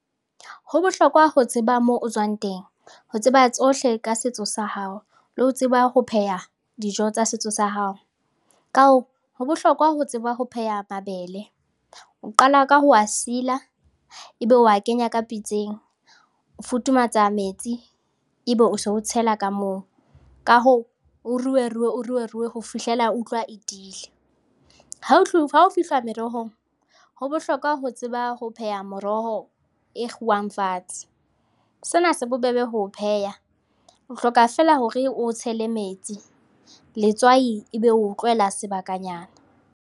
Ho bohlokwa ho tseba moo o tswang teng, ho tseba tsohle ka setso sa hao le ho tseba ho pheha dijo tsa setso sa hao. Ka hoo, ho bohlokwa ho tseba ho pheha mabele, o qala ka ho a sila, ebe wa kenya ka pitseng, o futhumatsa metsi ebe o so o tshela ka moo, ka hoo, o ruerue, o ruerue ho fihlella o utlwa e tiile. Ha ho fihlwa merohong ho bohlokwa ho tseba ba ho pheha moroho e kguwang fatshe, sena se bobebe ho o pheha, o hloka fela hore oo tshele metsi, letswai ebe oo tlohela sebakanyana.